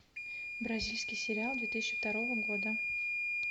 бразильский сериал две тысячи второго года